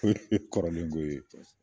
O ye kɔrɔlen ko ye.